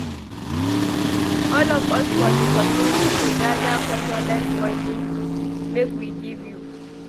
All of us for di community dey gada condolence moni make we give you.